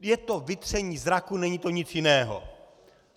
Je to vytření zraku, není to nic jiného.